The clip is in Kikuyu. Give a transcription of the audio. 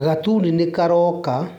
Gatuni nĩkaroka.